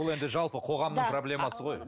бұл енді жалпы қоғамның проблемасы ғой